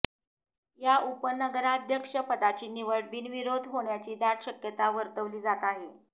या उपनगराध्यक्ष पदाची निवड बिनविरोध होण्याची दाट शक्यता वर्तविली जात आहे